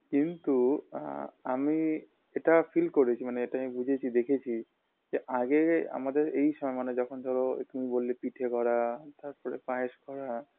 কিন্তু আ আমি এটা feel করেছি মানে আমি বুঝেছি দেখেছি যে আগে আমাদের এই সা মানে যখন ধরো তুমি বললে পিঠে করা তারপরে পায়েস করা